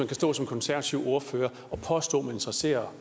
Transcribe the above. kan stå som konservativ ordfører og påstå at man interesserer